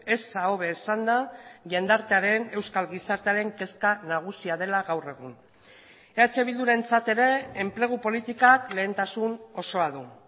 eza hobe esanda jendartearen euskal gizartearen kezka nagusia dela gaur egun eh bildurentzat ere enplegu politikak lehentasun osoa du